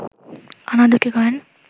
আনা দুটি কয়েন